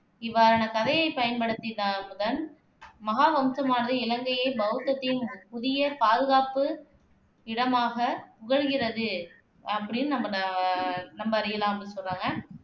இவ்வாறான கதைகயை பயன்படுத்தி தான், மகாவம்சமானது இலங்கையைப் பௌத்தத்தின் புதிய பாதுகாப்பு இடமாகப் புகழ்கிறது அப்படின்னு அஹ் நாம் அறியலாம் அப்படின்னு சொல்றாங்க